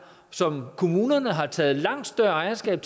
som kommunerne har taget langt større ejerskab